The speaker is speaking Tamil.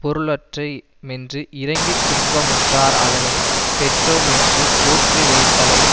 பொருளற்றே மென்று இரங்கித் துன்ப முறார் அதனை பெற்றோமென்று போற்றி வைத்தலை